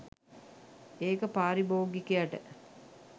ඒක පාරිභෝගිකයට